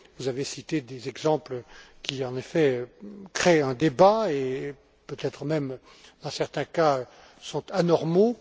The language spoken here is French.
Vous avez cité des exemples qui, en effet, suscitent le débat et peut être même, dans certains cas, sont anormaux.